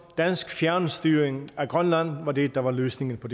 dansk fjernstyring af grønland var altså det der var løsningen på